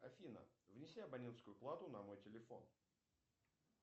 афина внеси абонентскую плату на мой телефон